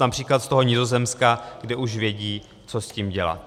například z toho Nizozemska, kde už vědí, co s tím dělat.